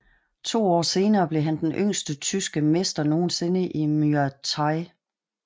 To år senere blev han den yngste tyske mester nogensinde i Muay Thai